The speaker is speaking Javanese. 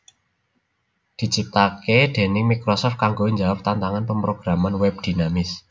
diciptakake déning Microsoft kanggo njawab tantangan pemrograman web dinamis